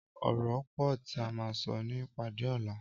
Ọrọ pọ ti à mà sọ ni ipàdé ọlà